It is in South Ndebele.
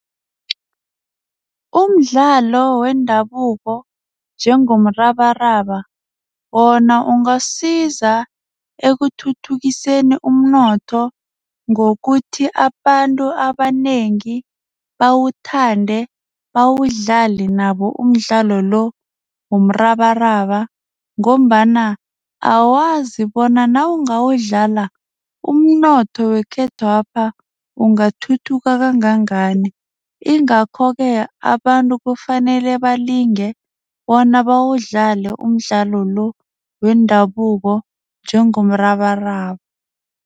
Umdlalo wendabuko njengomrabaraba wona ungasiza ekuthuthukiseni umnotho ngokuthi abantu abanengi bawuthande bawudlale nabo umdlalo lo womrabaraba ngombana awazi bona nawungadlala umnotho wekhethwapha ungathuthuka kangangani ingakho ke, abantu kufanele balinge bona bawudlale umdlalo lo wendabuko njengomrabaraba.